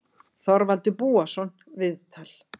Þorvaldur Búason, viðtal